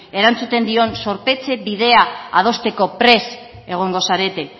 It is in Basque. erantzuten dion zorpetze bidea adosteko prest egongo zarete